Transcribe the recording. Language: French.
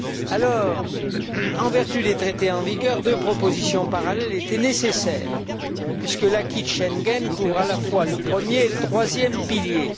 Alors, en vertu des Traités en vigueur, deux propositions parallèles étaient nécessaires, puisque l'acquis de Schengen couvre à la fois le premier et le troisième piliers.